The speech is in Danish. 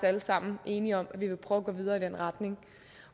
alle sammen enige om at vi vil prøve at gå videre i den retning